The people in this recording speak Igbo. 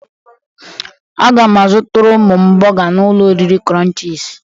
Aga m azụtara ụmụ m bọga n'ụlọ oriri Krọnchiz.